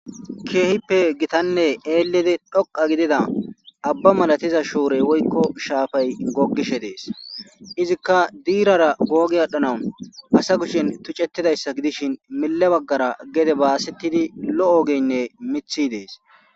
Kehippe elidi gittanne dhoqa gidida aba malatiza shorey woyikko shafay gogishshe des izikka dirara gogi adhanass asa kushshen tucetidayissa gdisishshin mile baggara gede basetidi lo'o ogeyinne miththi des